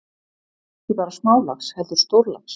Ekki bara smálax heldur stórlax.